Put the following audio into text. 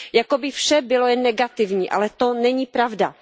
Jako by vše bylo jen negativní, ale to není pravda!